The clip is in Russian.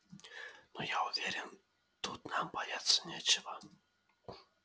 ну я уверен тут нам бояться нечего